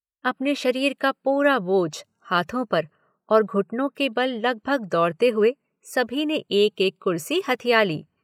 अपने शरीर का पूरा बोझ हाथों पर, और घुटनों के बल लगभग दौड़ते हुए सभी ने एक एक कुर्सी हथिया ली।